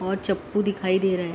और चपू दिखाई दे रहा है।